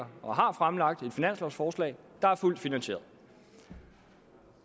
og har fremlagt et finanslovforslag der er fuldt finansieret